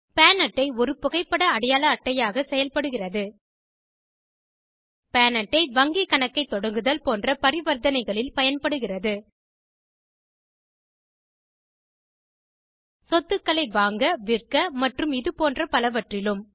பான் அட்டை ஒரு புகைப்பட அடையாள அட்டையாக செயல்படுகிறது பான் அட்டை வங்கி கணக்கை தொடங்குதல் போன்ற பரிவர்த்தனைகளில் பயன்படுகிறது சொத்துகளை வாங்க விற்க மற்றும் இதுபோன்ற பலவற்றிலும்